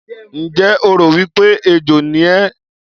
Ǹjẹ́ o rò wí pé ejò ni ẹ́?